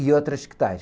e outras que tais.